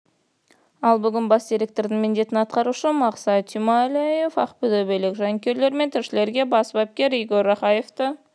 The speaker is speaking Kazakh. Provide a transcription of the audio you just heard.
ал бүгін бас директордың міндетін атқарушы мақсат тюмалиев ақтөбелік жанкүйерлер мен тілшілерге бас бапкер игорь рахаевты